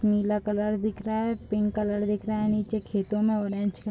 नीला colour दिख रहा है पिंक कलर दिख रहा है नीचे खेतो में ऑरेंज --